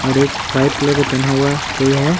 और एक white colour के पहना हुआ कोई है।